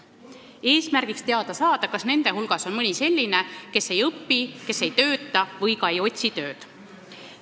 Eesmärk on teada saada, kas nende hulgas on mõni selline, kes ei õpi, ei tööta ega ka otsi tööd.